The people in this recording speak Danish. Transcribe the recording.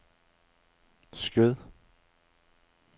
Skjød